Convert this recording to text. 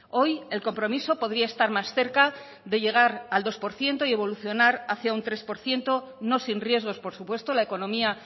hoy el compromiso podría estar más cerca de llegar al dos por ciento y evolucionar hacia un tres por ciento no sin riesgos por supuesto la economía